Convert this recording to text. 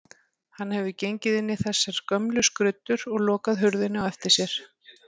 Hann hefur gengið inn í þessar gömlu skruddur og lokað hurðinni á eftir sér.